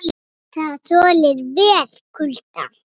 Það þolir vel kulda.